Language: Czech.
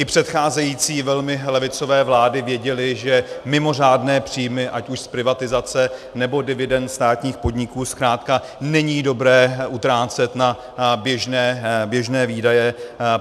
I předcházející velmi levicové vlády věděly, že mimořádné příjmy, ať už z privatizace, nebo dividend státních podniků, zkrátka není dobré utrácet na běžné výdaje.